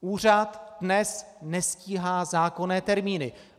Úřad dnes nestíhá zákonné termíny.